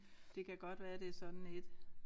Det kan godt være det sådan et